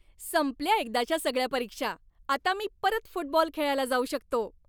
संपल्या एकदाच्या सगळ्या परीक्षा, आता मी परत फुटबॉल खेळायला जाऊ शकतो.